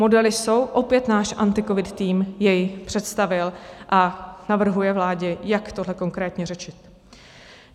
Modely jsou, opět náš AntiCovid tým jej představil a navrhuje vládě, jak tohle konkrétně řešit.